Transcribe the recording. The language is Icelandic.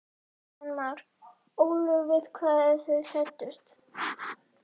Kristján Már: Ólöf við hvað eru þið hræddust?